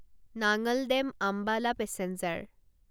নাঙল dam Ambala passenger